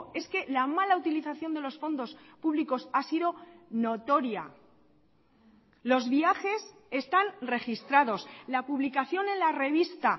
es que la mala utilización de los fondos públicos ha sido notoria los viajes están registrados la publicación en la revista